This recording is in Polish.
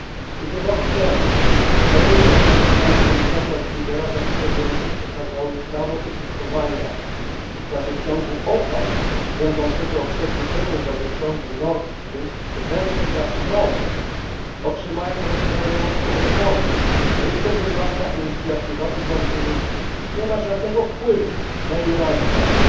Kiedy rok temu kolejny raz zapytałem komisarza Oettingera, dlaczego Niemcy przekazały prawo użytkowania gazociągu OPAL, będącego przedłużeniem gazociągu Nord Stream, w ręce Gazpromu, otrzymałem rozbrajającą odpowiedź, że jest to prywatna inicjatywa i rząd niemiecki nie ma żadnego wpływu na jej realizację.